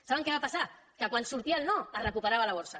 saben què va passar que quan sortia el no es recuperava la borsa